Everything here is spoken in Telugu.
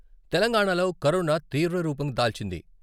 తెలంగాణాలో కరోనా తీవ్ర రూపం దాల్చింది.